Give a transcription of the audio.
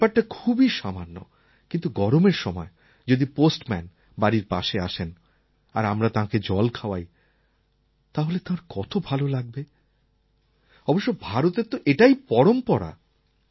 ব্যাপারটা খুবই সামান্য কিন্তু গরমের সময় যদি পোস্টম্যান বাড়ির পাশে আসেন আর আমরা তাঁকে জল খাওয়াই তাহলে তাঁর কত ভাল লাগবে অবশ্য ভারতের তো এটাই পরম্পরা